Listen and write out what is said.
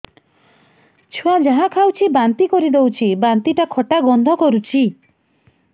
ଛୁଆ ଯାହା ଖାଉଛି ବାନ୍ତି କରିଦଉଛି ବାନ୍ତି ଟା ଖଟା ଗନ୍ଧ କରୁଛି